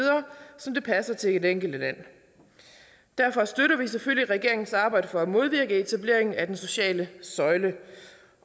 som det passer til det enkelte land derfor støtter vi selvfølgelig regeringens arbejde for at modvirke etableringen af den sociale søjle